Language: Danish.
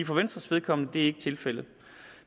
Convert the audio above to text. for venstres vedkommende er det ikke tilfældet